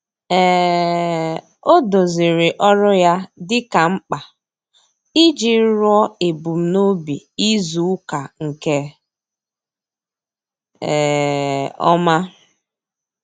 um Ọ́ dòzìrì ọ́rụ́ ya dika mkpa iji rúó èbùmnòbì izùùka nke um ọ́ma.